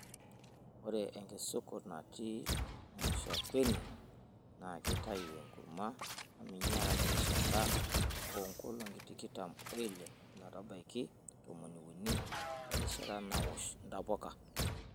Ore enkisukut natii mushakweni naa keitayu enkurma naminyara terishata oo nkolong'I tikitam oile ometabaiki tomoniuni erishata naosh ntapuka.